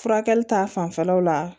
Furakɛli ta fanfɛlaw la